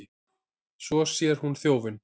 Svo sér hún þjófinn.